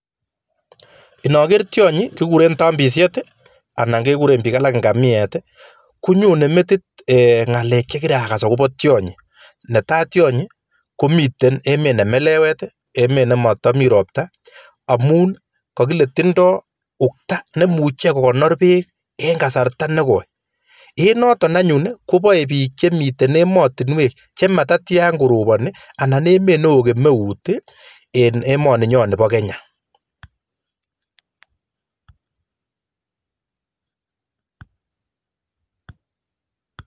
Inoger tionyi kiguren tompisiet anan keguren piik alak ngamiet konyone metit ee ng'alek chekiragas agopo tionyi, netai tionyi komiten emet ne melewet, emet nemotomi ropta amun kokile tindo ukta neimuche kogonor peek en kasarta nekoi, en noton anyun kopoe piik chemiten emotinwek chematatyan koroponi anan emet newoo kemeut en emoninyon nipo Kenya